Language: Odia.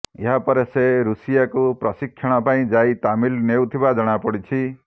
ଏହାପରେ ସେ ରୁଷିଆକୁ ପ୍ରଶିକ୍ଷଣ ପାଇଁ ଯାଇ ତାଲିମ ନେଉଥିବା ଜଣାପଡ଼ିଛି